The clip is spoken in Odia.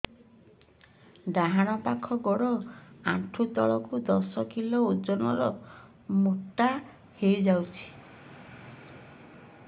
ଡାହାଣ ପାଖ ଗୋଡ଼ ଆଣ୍ଠୁ ତଳକୁ ଦଶ କିଲ ଓଜନ ର ମୋଟା ହେଇଯାଇଛି